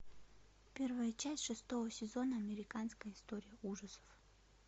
первая часть шестого сезона американская история ужасов